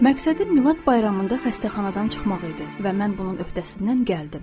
Məqsədim Milad bayramında xəstəxanadan çıxmaq idi və mən bunun öhdəsindən gəldim.